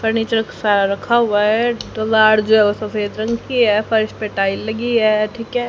Furniture क सा रखा हुआ है लार्ज सफेद रंग लगी है फर्श पर टाइल लगी है ठीक है।